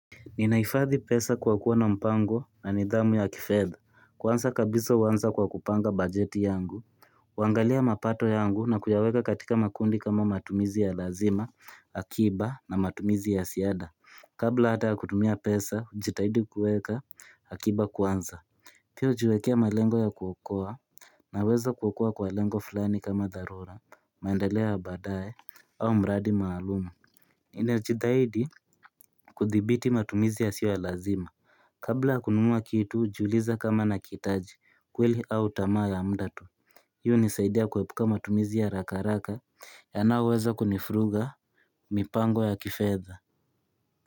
Ninahifadhi pesa kwa kuwa na mpango na nidhamu ya kifedha kuanza kabisa huanza kwa kupanga bajeti yangu kuangalia mapato yangu na kuyaweka katika makundi kama matumizi ya lazima, akiba na matumizi ya ziada Kabla hata kutumia pesa, najitahidi kuweka akiba kwanza Pia hujiwekea malengo ya kuokoa Naweza kuokoa kwa lengo fulani kama darura, maendelea ya baadae, au mradi maalumu Ninajitahidi kuthibiti matumizi yasio ya lazima Kabla kununua kitu hujiuliza kama nakihitaji kweli au tamaa ya mda tu Hii hunisaidia kuepuka matumizi ya harakaharaka yanaoweza kunivuruga mipango ya kifetha.